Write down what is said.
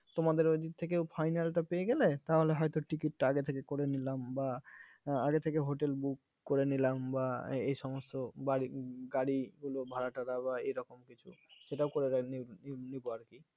তোমাদের ওইদিক থেকেও final তা পেয়ে গেলে তাহলে হয়তো ticket টা আগে থেকে করে নিলাম বা আগে থেকে hotel book করে নিলাম বা এই সমস্ত বাড়ি গাড়িগুলো ভাড়াটারা বা এরকম কিছু সেটাও . আর কি